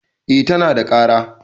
eh tana da kara